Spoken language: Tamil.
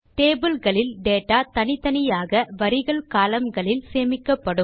டேபிள் களில் டேட்டா தனித்தனியாக வரிகள் கோலம்ன் களில் சேமிக்கப்படும்